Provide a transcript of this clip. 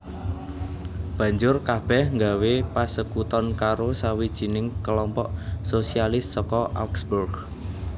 Banjur kabèh nggawé pasekuton karo sawijining kelompok sosialis saka Augsburg